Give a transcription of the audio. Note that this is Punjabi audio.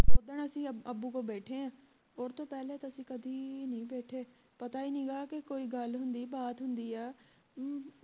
ਓਦਣ ਅਸੀਂ ਅੱਬੂ ਕੋਲ ਬੈਠੇ ਹੈਂ ਉਸਤੋਂ ਪਹਿਲੇ ਤਾਂ ਅਸੀਂ ਕਦੀ ਨੀ ਬੈਠੇ ਪਤਾ ਹੀ ਨਹੀਂ ਗਾ ਕਿ ਕੋਈ ਗੱਲ ਹੁੰਦੀ ਬਾਤ ਹੁੰਦੀ ਆ